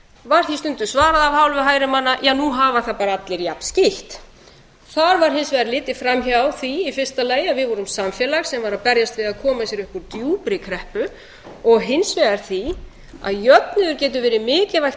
var því stundum svarað af hálfu hægri manna ja nú hafa það bara allir jafn skítt þar var hins vegar litið framhjá því í fyrsta lagi að við vorum samfélag sem var að berjast við að koma sér upp úr djúpri kreppu og hins vegar því að jöfnuður getur verið mikilvægt